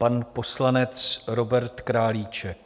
Pan poslanec Robert Králíček.